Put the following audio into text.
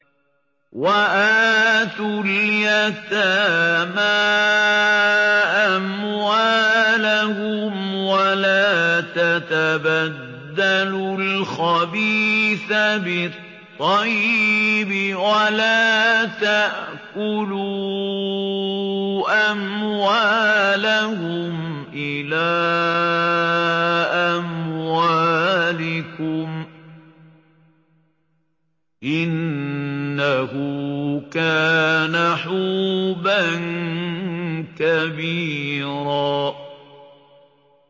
وَآتُوا الْيَتَامَىٰ أَمْوَالَهُمْ ۖ وَلَا تَتَبَدَّلُوا الْخَبِيثَ بِالطَّيِّبِ ۖ وَلَا تَأْكُلُوا أَمْوَالَهُمْ إِلَىٰ أَمْوَالِكُمْ ۚ إِنَّهُ كَانَ حُوبًا كَبِيرًا